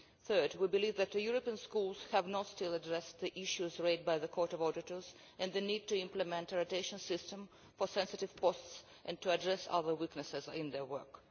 Third, we believe that the European Schools have still not addressed the issues raised by the Court of Auditors and the need to implement a rotation system for sensitive posts and to address other weaknesses in their work.